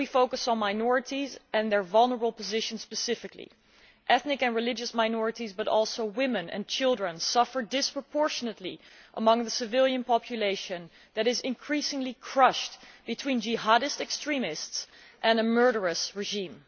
Today we focus on minorities and their vulnerable positions ethnic and religious minorities, but also women and children, suffer disproportionately among the civilian population that is increasingly crushed between Jihadist extremists and a murderous regime.